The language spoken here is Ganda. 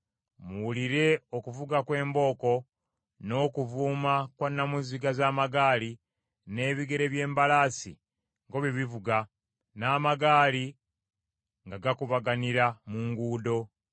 Muwulire okuvuga kw’embooko, n’okuvuuma kwa namuziga z’amagaali n’ebigere by’embalaasi nga bwe bivuga n’amagaali nga gakubaganira mu nguudo!